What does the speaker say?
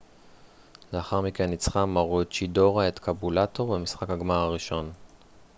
לאחר מכן ניצחה מרוצ'ידורה את קאבולטור במשחק הגמר הראשון